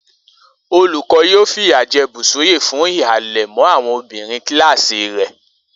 Olùkó̩ yóò fìyà je̩ Bùsúyì fún híhalè̩ mó̩ àwo̩n obìnrin kíláàsì rè̩